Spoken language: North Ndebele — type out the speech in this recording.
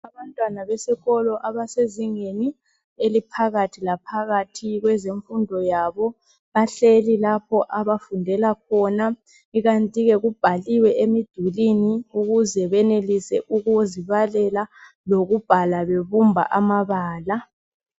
Abantwana besikolo abasezingeni eliphakathi laphakathi kwezemfundo yabo bahleli lapho abafundela khona, ikanti ke kubhaliwe emdulini ukuze benelise ukuzibalela lokubhala bebumba amabala.